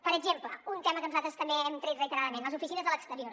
per exemple un tema que nosaltres també hem tret reiteradament les oficines a l’exterior